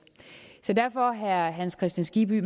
så derfor herre hans kristian skibby